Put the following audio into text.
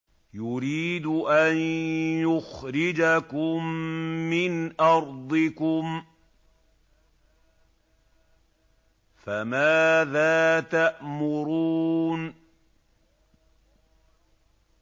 يُرِيدُ أَن يُخْرِجَكُم مِّنْ أَرْضِكُمْ ۖ فَمَاذَا تَأْمُرُونَ